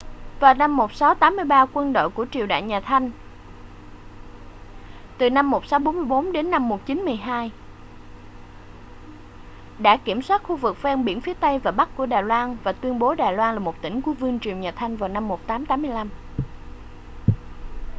vào năm 1683 quân đội của triều đại nhà thanh 1644-1912 đã kiểm soát khu vực ven biển phía tây và bắc của đài loan và tuyên bố đài loan là một tỉnh của vương triều nhà thanh năm 1885